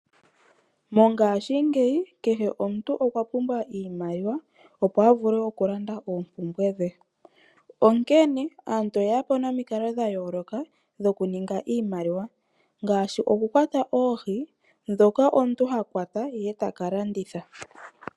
Mongashingeyi kehe omuntu okwa pumbwa iimaliwa, opo avule oku landa oompumbwe dhe, onkene aantu oye yapo nomikalo dha yooloka, dhoku ninga iimaliwa ngashi oku kwata oohi, dhoka omuntu ha kwata ye taka landitha.